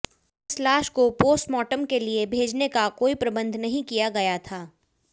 इस लाश को पोस्टमार्टम के लिए भेजने का कोई प्रबंध नहीं किया गया था